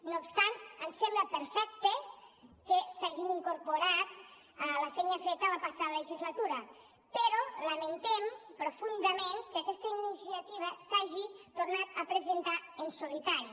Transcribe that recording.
no obstant ens sembla perfecte que s’hagi incorporat la feina feta la passada legislatura però lamentem profundament que aquesta iniciativa s’hagi tornat a presentar en solitari